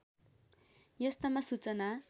यस्तामा सूचना